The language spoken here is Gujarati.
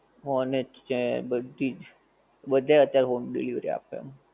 ઓનેસ્ટ છે બધીજ, બધાય અત્યારે home delivery આપે.